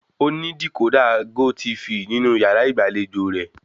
Ó ní dìkódà gótiifì nínú yàrá ìgbàlejò rẹ̀